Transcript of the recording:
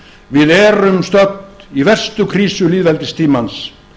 við erum stödd í verstu krísu lýðveldistímans